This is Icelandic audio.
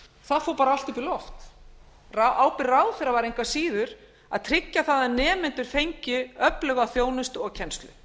það fór bara allt upp í loft ábyrgð ráðherra var engu að síður að tryggja það að nemendur fengju öfluga þjónustu og kennslu